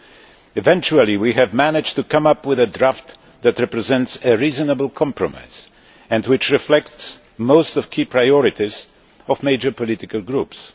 We eventually managed to come up with a draft that represents a reasonable compromise and which reflects most of the key priorities of major political groups.